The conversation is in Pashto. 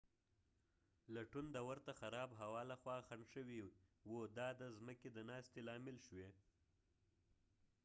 لټون د ورته خراب هوا لخوا خنډ شوی و دا د ځمکی د ناستې لامل شوی